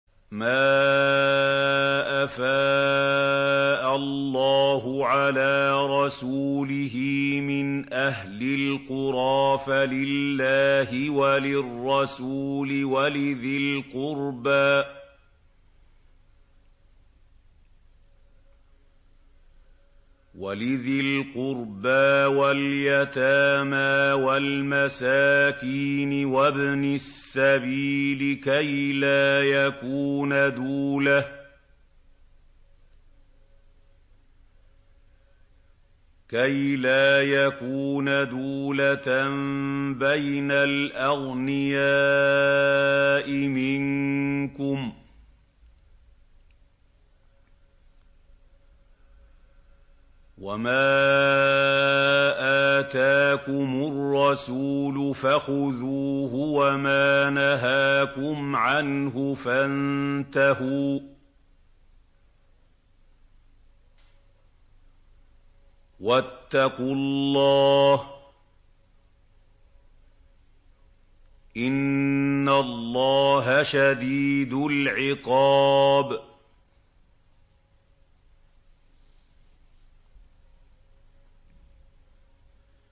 مَّا أَفَاءَ اللَّهُ عَلَىٰ رَسُولِهِ مِنْ أَهْلِ الْقُرَىٰ فَلِلَّهِ وَلِلرَّسُولِ وَلِذِي الْقُرْبَىٰ وَالْيَتَامَىٰ وَالْمَسَاكِينِ وَابْنِ السَّبِيلِ كَيْ لَا يَكُونَ دُولَةً بَيْنَ الْأَغْنِيَاءِ مِنكُمْ ۚ وَمَا آتَاكُمُ الرَّسُولُ فَخُذُوهُ وَمَا نَهَاكُمْ عَنْهُ فَانتَهُوا ۚ وَاتَّقُوا اللَّهَ ۖ إِنَّ اللَّهَ شَدِيدُ الْعِقَابِ